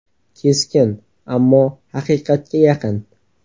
Keskin, ammo haqiqatga yaqin.